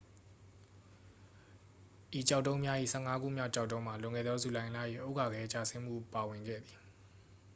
ဤကျောက်တုံးများ၏ ဆယ့်ငါးခုမြောက် ကျောက်တုံးမှာ လွန်ခဲ့သော ဇူလိုင်လ၏ ဥက္ကာခဲကျဆင်းမှု ပါဝင်ခဲ့သည်